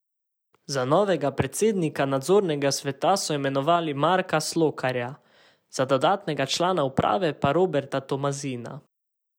Za novega predsednika nadzornega sveta so imenovali Marka Slokarja, za dodatnega člana uprave pa Roberta Tomazina.